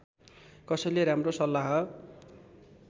कसैले राम्रो सल्लाह